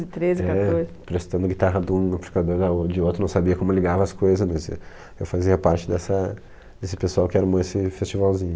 De treze, quatorze. É, prestando a guitarra de um amplificador da o de outro, não sabia como ligava as coisas desse, eu fazia parte dessa desse pessoal que armou esse festivalzinho.